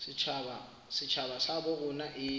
setjhaba sa habo rona e